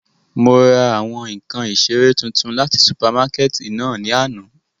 Mo ra awọn nkan isere tuntun lati supamakẹti náa ni ana.